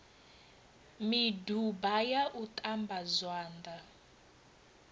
miduba ya u ṱamba zwanḓa